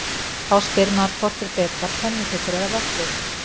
Þá spyr maður hvort er betra pönnukökur eða vöfflur?